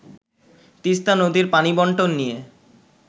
তিস্তা নদীর পানি বন্টন নিয়ে